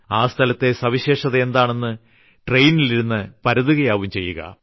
ആ സ്ഥലത്തെ സവിശേഷത എന്താണെന്ന് ട്രെയിനിലിരുന്ന് ചുവരുകളിൽ പരതുകയാവും ചെയ്യുക